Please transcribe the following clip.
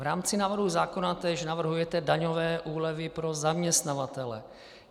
V rámci návrhu zákona též navrhujete daňové úlevy pro zaměstnavatele.